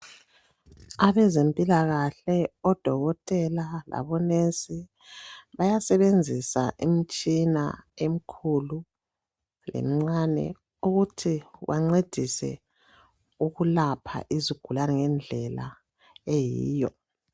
Abezempilakahle odokotela labo nesi bayasebenzisa imitshina emikhulu lemincane ukuthi bancedise ukulapha izigulane ngendlela eyiyo.